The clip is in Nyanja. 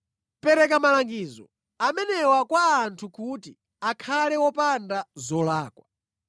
Pereka malangizo amenewa kwa anthu kuti akhale opanda zolakwa.